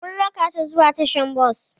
Mun raka tà zuwa tasha-bos.